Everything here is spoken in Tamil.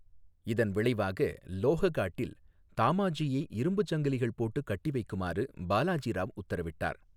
இதன் விளைவாக, லோஹகாட்டில் தாமாஜியை இரும்பு சங்கிலிகள் போட்டு கட்டி வைக்குமாறு பாலாஜி ராவ் உத்தரவிட்டார்.